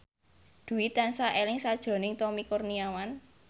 Dwi tansah eling sakjroning Tommy Kurniawan